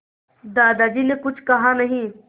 दादाजी ने कुछ कहा नहीं